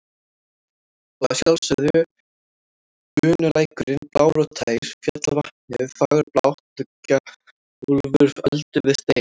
Og að sjálfsögðu bunulækurinn blár og tær, fjallavatnið fagurblátt og gjálfur öldu við stein.